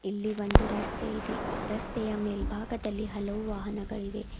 ಇಲ್ಲಿ ಒಂದು ರಸ್ತೆ ಇದೆ ರಸ್ತೆಯ ಮೇಲ್ಭಾಗದಲ್ಲಿ ಹಲವು ವಾಹನಗಳಿವೆ.